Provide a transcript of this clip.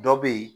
Dɔ be yen